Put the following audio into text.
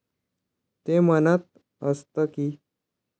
ते म्हणत असत की,